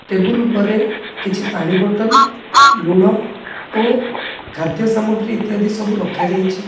Table ପରେ କିଛି ପାଣି ବୋଟଲ୍ ଲୁଣ ଓ ଖାଦ୍ୟ ସାମଗ୍ରୀ ଇତ୍ୟାଦି ସବୁ ରଖାଯାଇଚି।